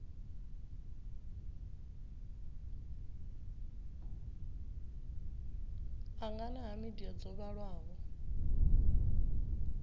angana ha midia dzo vhalaho